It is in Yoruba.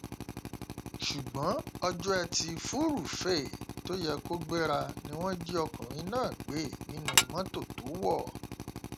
ṣùgbọn ọjọ etí furuufee tó yẹ kó gbéra ni wọn jí ọkùnrin náà gbé nínú mọtò tó wọ